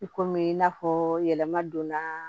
I komi i n'a fɔ yɛlɛma donna